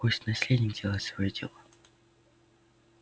пусть наследник делает своё дело